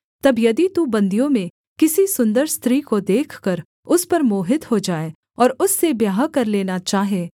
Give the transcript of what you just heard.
तब यदि तू बन्दियों में किसी सुन्दर स्त्री को देखकर उस पर मोहित हो जाए और उससे ब्याह कर लेना चाहे